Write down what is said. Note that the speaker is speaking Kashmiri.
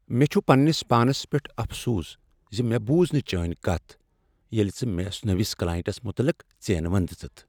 مےٚ چھ پنٛنس پانس پیٹھ افسوس ز مےٚ بوٗز نہٕ چٲنۍ کتھ ییٚلہ ژےٚ مےٚ نٔوس کلاینٛٹس متعلق ژینؤنۍ دژٕتھ۔